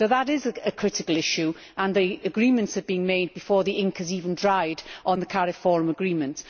That is a critical issue, and the agreements have been reached before the ink has even dried on the CARIFORUM Agreement.